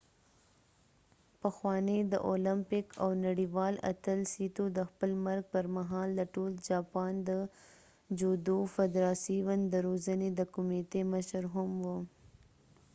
پخوانی د اولمپیک او نړیوال اتل سیتو د خپل مرګ پر مهال د ټول جاپان د جودو فدراسیون د روزنې د کمیتې مشر هم و